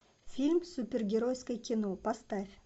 фильм супергеройское кино поставь